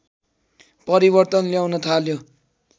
परिवर्तन ल्याउन थाल्यो